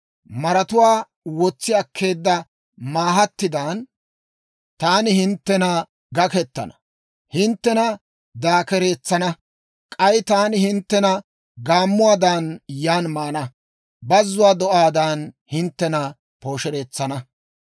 Maratuwaa wotsi akkeedda maahattiidan, taani hinttenana gakettana; hinttena daakereetsana. K'ay taani hinttena gaammuwaadan yan maana; bazzuwaa do'aadan, hinttena poosheretsana.